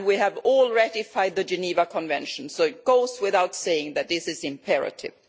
We have all ratified the Geneva Convention, so it goes without saying that this is imperative.